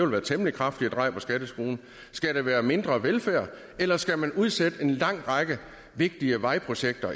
være et temmelig kraftigt drej på skatteskruen skal der være mindre velfærd eller skal man eksempelvis udsætte en lang række vigtige vejprojekter